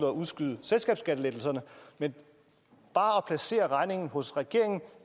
at udskyde selskabsskattelettelserne men bare at placere regningen hos regeringen